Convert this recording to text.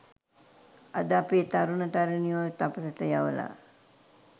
අද අපේ තරුණ තරුණියෝ තපසට යවලා